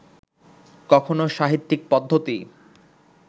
কখনও সাহিত্যিক পদ্ধতি